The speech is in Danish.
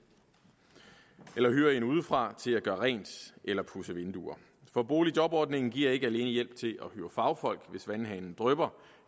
eller hyre en udefra til at gøre rent eller pudse vinduer for boligjobordningen giver ikke alene hjælp til at hyre fagfolk hvis vandhanen drypper